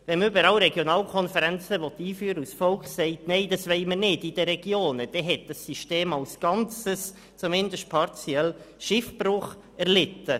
Wenn man überall Regionalkonferenzen einführen will und das Volk dies in der Region nicht will, hat das System als Ganzes, zumindest partiell, Schiffbruch erlitten.